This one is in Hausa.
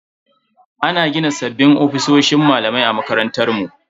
Ana gina sabbin ofisoshin malamai a makarantar mu.